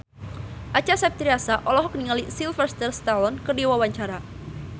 Acha Septriasa olohok ningali Sylvester Stallone keur diwawancara